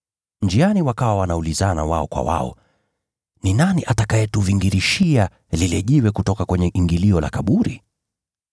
Njiani wakawa wanaulizana wao kwa wao, “Ni nani atakayetuvingirishia lile jiwe kutoka kwenye ingilio la kaburi?”